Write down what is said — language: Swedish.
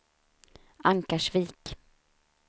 Ankarsvik